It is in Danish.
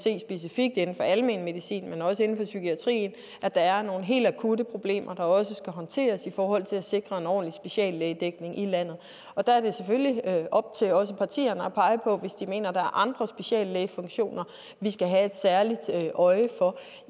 se specifikt inden for almen medicin men også inden for psykiatrien at der er nogle helt akutte problemer der også skal håndteres i forhold til at sikre en ordentlig speciallægedækning i landet der er det selvfølgelig op til også partierne at pege på hvis de mener der er andre speciallægefunktioner vi skal have et særligt øje for